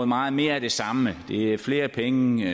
meget mere af det samme det er flere penge